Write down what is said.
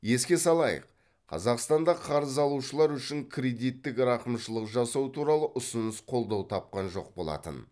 еске салайық қазақстанда қарыз алушылар үшін кредиттік рақымшылық жасау туралы ұсыныс қолдау тапқан жоқ болатын